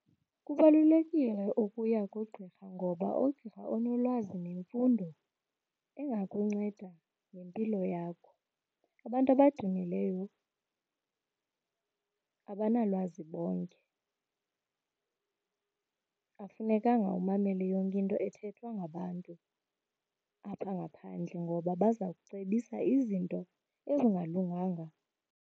Kubalulekile ukuya kugqirha ngoba ugqirha unolwazi nemfundo engakunceda ngempilo yakho. Abantu abadumileyo abanalwazi bonke. Akufunekanga umamele yonke into ethethwa ngabantu apha ngaphandle ngoba baza kucebisa izinto ezingalunganga.